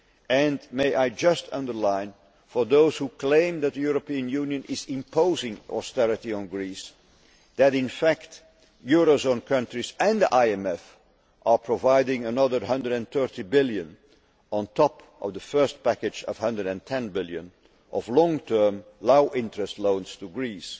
Greece. And may I just underline, for those who claim that the European Union is imposing' austerity on Greece, that, in fact, euro area countries and the IMF are providing another EUR 130 billion, on top of the first package of EUR 110 billion, of long term low interest loans to